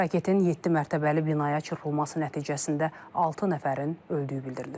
Raketin yeddi mərtəbəli binaya çırpılması nəticəsində altı nəfərin öldüyü bildirilir.